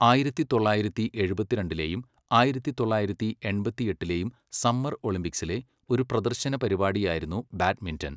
ആയിരത്തി തൊള്ളായിരത്തി എഴുപത്തിരണ്ടിലേയും ആയിരത്തി തൊള്ളായിരത്തി എൺപത്തി എട്ടിലെയും സമ്മർ ഒളിമ്പിക്സിലെ ഒരു പ്രദർശന പരിപാടിയായിരുന്നു ബാഡ്മിന്റൺ.